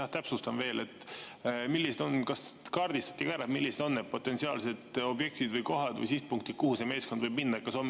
Ma täpsustan veel: kas kaardistati ka ära, millised on need potentsiaalsed objektid või kohad või sihtpunktid, kuhu see meeskond võib minna?